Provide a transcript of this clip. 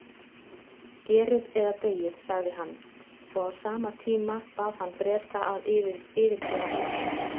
Gerið eða deyið, sagði hann, og á sama tíma bað hann Breta að yfirgefa Indland.